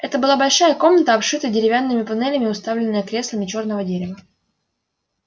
это была большая комната обшитая деревянными панелями уставленная креслами чёрного дерева